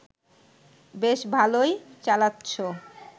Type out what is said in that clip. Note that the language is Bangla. বেশ ভালই চালাচ্ছ